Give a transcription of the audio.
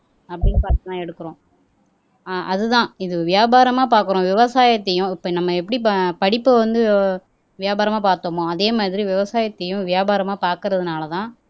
அப்பிடின்னு பாத்துதான் எடுக்கிறோம் ஆஹ் அதுதான் இது வியாபாரமா பார்க்கிறோம் விவசாயத்தையும் இப்ப நம்ம எப்படி ப படிப்பை வந்து வியாபாரமா பார்த்தோமோ அதே மாதிரி விவசாயத்தையும் வியாபாரமா பார்க்கிறதுனாலதான்